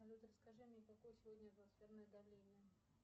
салют расскажи мне какое сегодня атмосферное давление